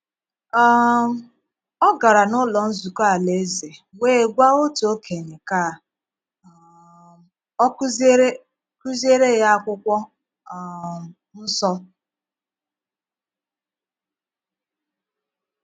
um Ọ gara n’ụ́lọ́ nzukọ́ Alaeze wee gwà otu okenye ka um ọ kuziere kuziere ya akwụkwọ um nsọ.